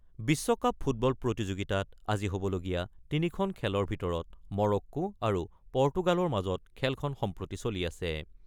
বিশ্বকাপ ফুটবল প্ৰতিযোগিতাত আজি হ'বলগীয়া ৩ খন খেলৰ ভিতৰত মৰক্কো আৰু পৰ্টুগালৰ মাজৰ খেলখন সম্প্ৰতি চলি আছে।